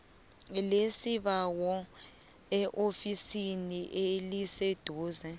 lesibawo eofisini eliseduze